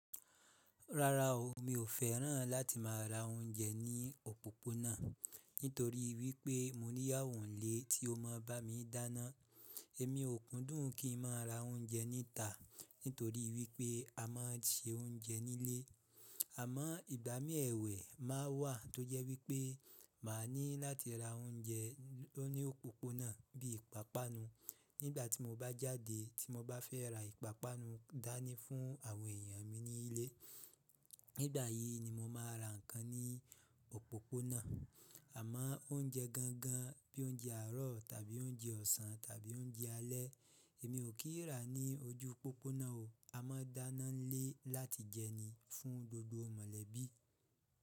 Rárá o, mi ò fẹ́ràn láti má ra oúnjẹ ní òpópónà nítorí wípé mo ní iyawo nlé tí ó máa bá mi dáná. Èmi ò kúndùn kí n má ra oúnjẹ níta nítorí wípé a má ń se oúnjẹ nílé. Àmọ́ ìgbà mí èwẹ̀ má wà tó jẹ́ wípé máa ní láti ra oúnjẹ ló ní òpópónà bí ìpápánu nígbà tí mo bá jáde tí mo bá fẹ́ ra ìpápánu dání fún àwọn èèyàn mi ní ilé. Nígbà yìí ni mo máa ra nǹkan ní òpópónà. Àmọ́ oúnjẹ gangan bí oúnjẹ àárọ̀ tàbí oúnjẹ ọ̀sán tàbí oúnjẹ alẹ́ èmi ò kí ń rà ní ojú òpópónà o. A máa ń dáná nílé láti jẹ ní fún gbogbo mọ̀lẹ́bí.